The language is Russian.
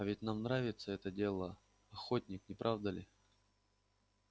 а ведь нам нравится это дело охотник не правда ли